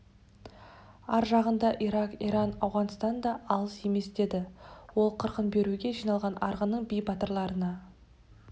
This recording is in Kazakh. ар жағында ирак иран ауғанстан да алыс емесдеді ол қырқын беруге жиналған арғынның би батырларына